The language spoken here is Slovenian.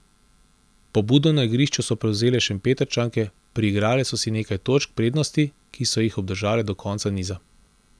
Pobudo na igrišču so prevzele Šempetrčanke, priigrale so si nekaj točk prednosti, ki so jih obdržale do konca niza.